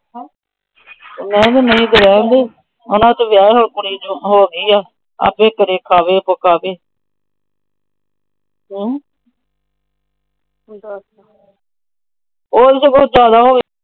ਮੈ ਕਿਹਾ ਹੁਣ ਤੂੰ ਰੈਹਣ ਦੇ, ਵਿਆਹ ਹੋ ਗਿਆ ਆਪੇ ਕਰੇ ਖਾਵੇ ਪਕਾਵੇ।